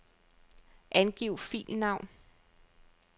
Angiv filnavn.